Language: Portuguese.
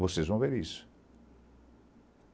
Vocês vão ver isso.